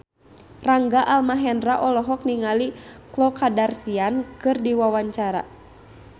Rangga Almahendra olohok ningali Khloe Kardashian keur diwawancara